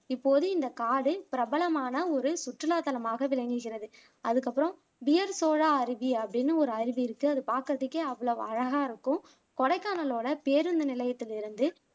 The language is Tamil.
இப்போது இந்த காடு பிரபலமான ஒரு சுற்றுலாத்தலமாக விளங்குகிறது அதுக்கு அப்பறம் பியர் சோலா அருவி அப்படின்னு ஒரு அருவி இருக்கு அது பாக்குறதுக்கே அவ்வளவு அழகா இருக்கும் கொடைக்கானலோட பேருந்து நிலையத்தில் இருந்து